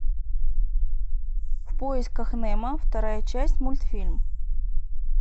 в поисках немо вторая часть мультфильм